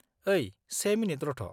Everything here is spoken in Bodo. ओइ से मिनिट रथ'।